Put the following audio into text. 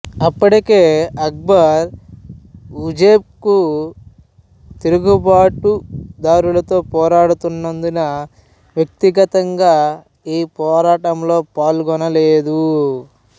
అప్పటికే అక్బరు ఉజ్బెక్ తిరుగుబాటు దారులతో పోరాడుతున్నందున వ్యక్తిగతంగా ఈ పోరాటంలో పాల్గొనలేదు